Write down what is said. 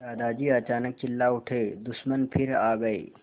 दादाजी अचानक चिल्ला उठे दुश्मन फिर आ गए